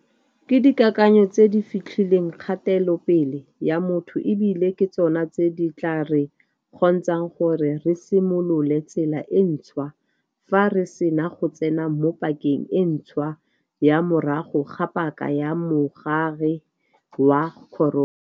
Ke dikakanyo tse di fetlhileng kgatelopele ya motho e bile ke tsona tse di tla re kgontshang gore re simolole tsela e ntšhwa fa re sena go tsena mo pakeng e ntšhwa ya morago ga paka ya mogare wa corona.